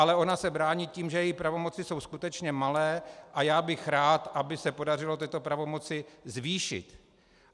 Ale ona se brání tím, že její pravomoci jsou skutečně malé, a já bych rád, aby se podařilo tyto pravomoci zvýšit.